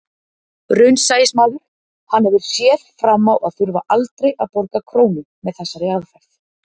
Raunsæismaður, hann hefur séð fram á að þurfa aldrei að borga krónu með þessari aðferð.